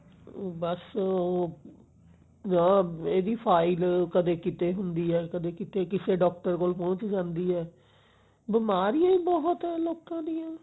ਬਸ ਉਹ ਇਹਦੀ file ਕਦੇ ਕਿਤੇ ਹੁੰਦੀ ਹੈ ਕਦੇ ਕਿਸੇ doctor ਕੋਲ ਪਹੁੰਚ ਜਾਂਦੀ ਐ ਬਿਮਾਰੀਆਂ ਹੀ ਬਹੁਤ ਹੈ ਲੋਕਾ ਦੀਆਂ